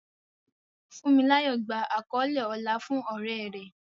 Funmilayo gba àkọlé ọlá fún oore rẹ̀.